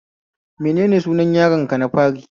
Menene sunan yaron ka na fari?